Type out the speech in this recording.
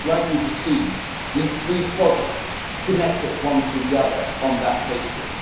I would like you to see these three projects connected to one another on that basis.